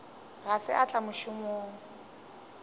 ga se a tla mošomong